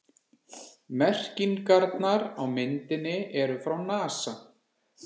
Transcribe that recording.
Merkingarnar á myndinni eru frá NASA.